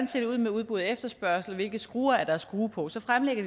ser ud med udbud og efterspørgsel hvilke skruer der er at skrue på og så fremlægger